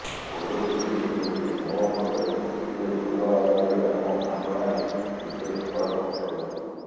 କୋହଲି କହିଥିଲେ ଯେ ମୋ ମତରେ ଗୋଟିଏ ଭଲ ଆଇପିଏଲ୍ ଆମ ଭାବନାରେ ବିଶେଷ ଫରକ ପକାଇବ ନାହିଁ